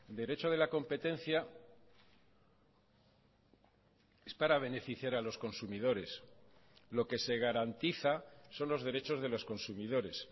derecho de la competencia es para beneficiar a los consumidores lo que se garantiza son los derechos de los consumidores